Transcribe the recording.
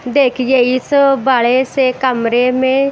देखिए इस बड़े से कमरे में--